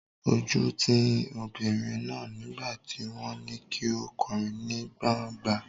Ojú ń ti obìnrin náà nígbà tí wọ́n ní kí ó kọrin ní gban̄gba.